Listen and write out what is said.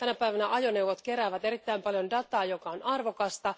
Tänä päivänä ajoneuvot keräävät erittäin paljon dataa, joka on arvokasta.